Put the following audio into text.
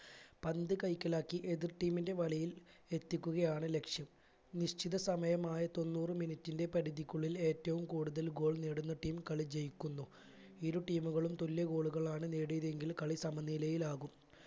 പന്ത് കൈക്കലാക്കി എതിർ team ന്റെ വലയിൽ എത്തികുകയാണ് ലക്ഷ്യം നിശ്ചിത സമയമായ തൊണ്ണൂറു minute ന്റെ പരിധിക്കുള്ളിൽ എറ്റവും കൂടുതലൽ goal നേടുന്ന team കളി ജയിക്കുന്നു ഇരു team കളും തുല്യ goal കളാണ് നേടിയതെങ്കിൽ കളി സമനിരയിലാകും